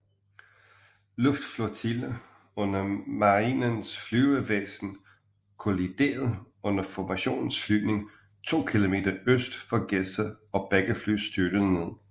Luftflotille under Marinens Flyvevæsen kolliderede under formationsflyvning 2 km øst for Gedser og begge fly styrtede ned